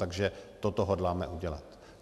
Takže toto hodláme udělat.